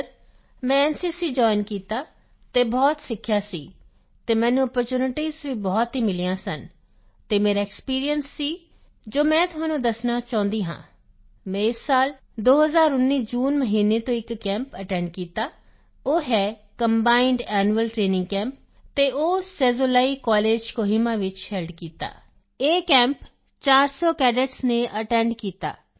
sir ਮੈਂ NCC join ਕੀਤਾ ਅਤੇ ਬਹੁਤ ਸਿੱਖਿਆ ਸੀ ਅਤੇ ਮੈਨੂੰ ਅਪੋਰਚੂਨਿਟੀਜ਼ ਵੀ ਬਹੁਤ ਮਿਲੀਆਂ ਸਨ ਅਤੇ ਮੇਰਾ ਇੱਕ ਐਕਸਪੀਰੀਐਂਸ ਸੀ ਜੋ ਮੈਂ ਤੁਹਾਨੂੰ ਦੱਸਣਾ ਚਾਹੁੰਦਾ ਹਾਂ ਮੈਂ ਇਸ ਸਾਲ 2019 ਜੂਨ ਮਹੀਨੇ ਤੋਂ ਇੱਕ ਕੈਂਪ ਅਟੈਂਡ ਕੀਤਾ ਉਹ ਹੈ ਕੰਬਾਈਂਡ ਐਨੂਅਲ ਟਰੇਨਿੰਗ ਕੈਂਪ ਅਤੇ ਉਹ ਸੈਜ਼ੋਲੀਕੋਲੇਜ ਕੋਹਿਮਾ ਵਿੱਚ ਹੇਲਡ ਕੀਤਾ ਇਹ ਕੈਂਪ 400 ਕੈਡੇਟਸ ਨੇ ਅਟੈਂਡ ਕੀਤਾ